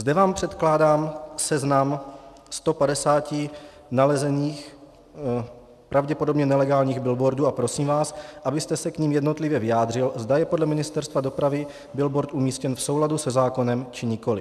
Zde vám předkládám seznam 150 nalezených, pravděpodobně nelegálních billboardů a prosím vás, abyste se k nim jednotlivě vyjádřil, zda je podle Ministerstva dopravy billboard umístěn v souladu se zákonem, či nikoliv.